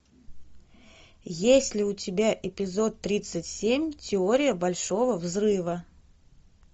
есть ли у тебя эпизод тридцать семь теория большого взрыва